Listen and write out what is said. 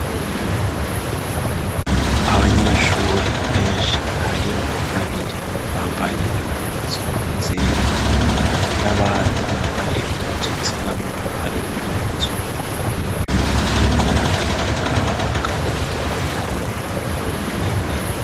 abanyeshure benshi harimwo babiri bambaye impuzu zera n'abandi bambaye impuzu zirabura harimwo umuzungu umwe bariko bumviriza abagabo n'umugore umwe imbere